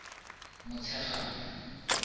motshegang